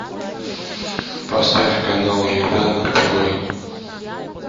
поставь канал еда на тв